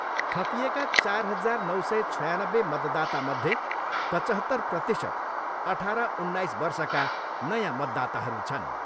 थपिएका चार हजार नौ सय छयानब्बे मतदातामध्ये पचहत्तर प्रतिशत अठार उन्नाइस वर्षका नयाँ मतदाताहरू छन्।